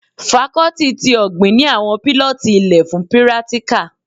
Fakọ́tì tí ọ̀gbìn ni àwọn pílọ́tì ilẹ fun pírátíkà